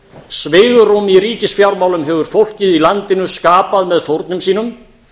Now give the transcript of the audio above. svigrúm í ríkisfjármálum hefur fólkið í landinu skapað með fórnum sínum